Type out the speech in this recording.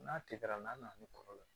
N'a tɛ kɛra n'a nana ni kɔrɔ ye